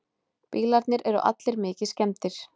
Bílarnir eru allir mikið skemmdir